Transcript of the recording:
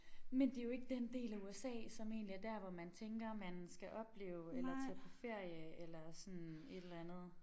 Men det jo ikke den del af USA som egentlig er dér hvor man tænker man skal opleve eller tage på ferie eller sådan et eller andet